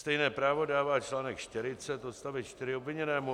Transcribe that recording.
Stejné právo dává článek 40 odstavec 4 obviněnému.